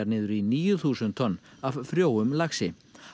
niður í níu þúsund tonn af frjóum laxi